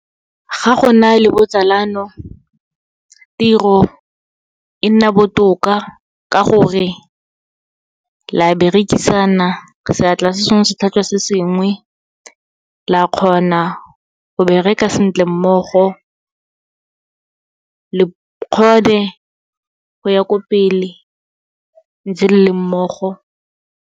Ga go na le botsalano tiro e nna botoka, ka gore la berekisana, seatla se sengwe se tlhatswa se sengwe. La kgona go bereka sentle mmogo, le kgone go ya ko pele, ntse le le mmogo.